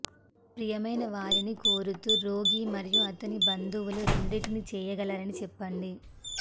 ప్రియమైన వారిని కోరుతూ రోగి మరియు అతని బంధువులు రెండింటిని చేయగలరని చెప్పండి